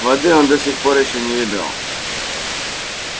воды он до сих пор ещё не видал